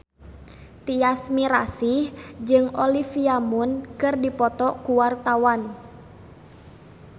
Tyas Mirasih jeung Olivia Munn keur dipoto ku wartawan